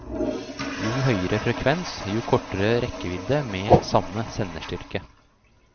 Jo høyere frekvens, jo kortere rekkevidde med samme senderstyrke.